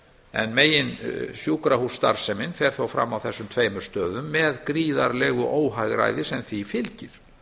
en megin sjúkrahússtarfsemin fer þó fram á þessum tveimur stöðum með gríðarlegu óhagræði sem því fylgir